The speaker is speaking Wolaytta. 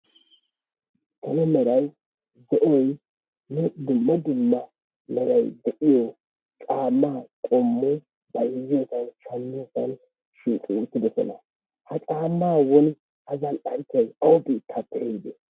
Salo meray zo"oynne dumma dumma meray de'iyoo caammaa qoommoy bayzziyoosan shaammiyoosan shiiqi uttidoosona. ha caammaa woni ha zal"anchchay awu bittaappe ehiide?